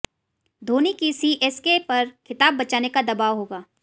धोनी की सीएसके पर खिताब बचाने का दबाव होगा